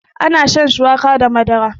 ana shan shuwaka da Madara